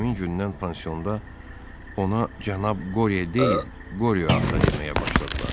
Elə həmin gündən pansionda ona cənab Qorye deyil, Qorye ata deməyə başladılar.